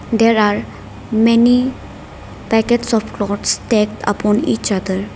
there are many packets of clothes take upon each other.